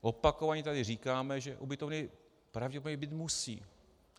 Opakovaně tady říkáme, že ubytovny pravděpodobně být musí.